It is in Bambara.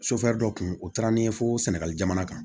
dɔ kun o taara ni ye fo sɛnɛgali jamana kan